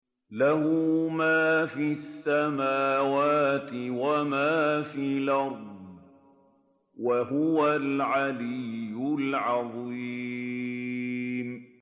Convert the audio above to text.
لَهُ مَا فِي السَّمَاوَاتِ وَمَا فِي الْأَرْضِ ۖ وَهُوَ الْعَلِيُّ الْعَظِيمُ